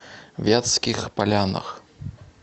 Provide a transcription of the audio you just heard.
вятских полянах